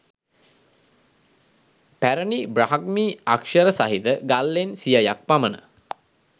පැරැණි බ්‍රාහ්මී අක්‍ෂර සහිත ගල් ලෙන් සියයක් පමණ